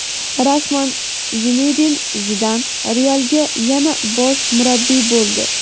Rasman: Zinedin Zidan "Real"ga yana bosh murabbiy bo‘ldi.